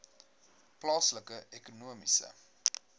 plaaslike ekonomiese